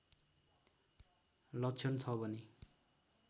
लक्षण छ भने